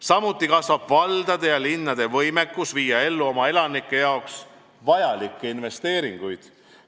Samuti kasvab valdade ja linnade võimekus viia ellu oma elanike jaoks vajalikke investeeringuid.